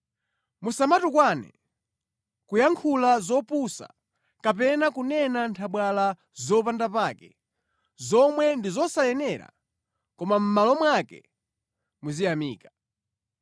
Musamatukwane, kuyankhula zopusa kapena kunena nthabwala zopanda pake, zomwe ndi zosayenera, koma mʼmalo mwake muziyamika.